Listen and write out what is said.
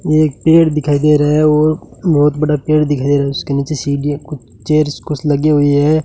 एक पेड़ दिखाई दे रहा है और बहुत बड़ा पेड़ दिख रहा है उसके नीचे सीढ़ियां कुछ चेयर्स कुछ लगी हुई है।